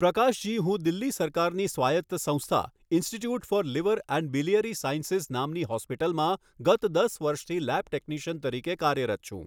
પ્રકાશજી હું દિલ્હી સરકારની સ્વાયત્ત સંસ્થા, institute of liver and biliary sciences નામની હોસ્પિટલમાં ગત દસ વર્ષથી લેબ ટેક્નિશિયન તરીકે કાર્યરત છું.